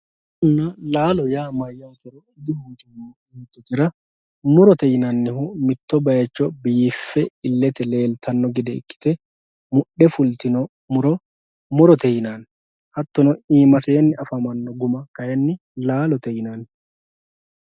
Muronna laalo mayyate yoottotera murote yinannihu mitto bayicho biiffe ilete leellittano gede ikkite mudhe fultino muro murote yinanni, hattono iimaseni affamano guma laalote yinanni.